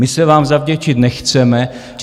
My se vám zavděčit nechceme.